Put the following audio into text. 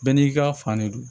Bɛɛ n'i ka fan de don